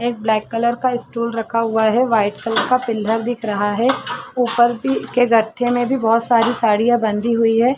एक black colour का stool रखा हुआ है वाइट कलर का पिलर दिख रहा है ऊपर के गट्ठे में भी बहुत सारी साड़ियां बंधी हुई है।